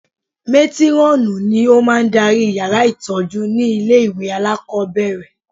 Mátírọ́ọ̀nù ni ó máa ń darí yàrá ìtọ́jú ní ilé ìwé alákọ̀ọ́bẹ̀rẹ̀